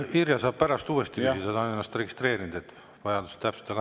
Irja saab pärast uuesti küsida – ta on ennast registreerinud – ja vajadusel täpsustada.